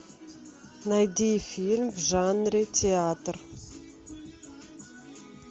найди фильм в жанре театр